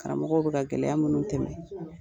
Karamɔgɔ bɛ ka gɛlɛya minnu tɛmɛ,